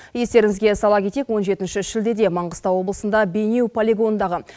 естеріңізге сала кетейік он жетінші шілдеде маңғыстау облысында бейнеу полигонындағы